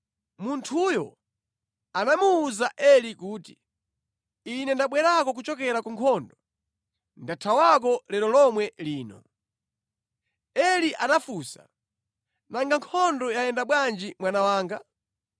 Munthuyo anamuwuza Eli kuti, “Ine ndabwera kuchokera ku nkhondo, ndathawako lero lomwe lino.” Eli anafunsa, “Nanga nkhondo yayenda bwanji mwana wanga?”